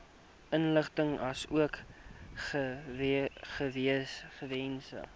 inligting asook gegewens